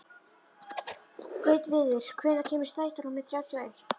Gautviður, hvenær kemur strætó númer þrjátíu og eitt?